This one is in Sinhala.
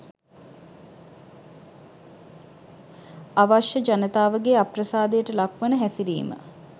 අවශ්‍ය ජනතාවගේ අප්‍රසාදයට ලක්වන හැසිරීම